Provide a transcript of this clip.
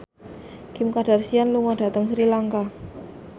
Kim Kardashian lunga dhateng Sri Lanka